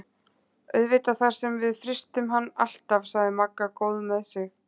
Auðvitað þar sem við frystum hann alltaf sagði Magga góð með sig.